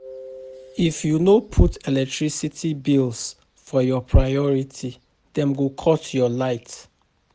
If you no put electricity bills for your priority, dem go cut your light.